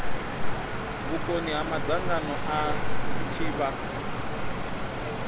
vhukoni ha madzangano a tshitshavha